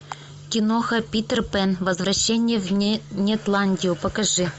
киноха питер пэн возвращение в нетландию покажи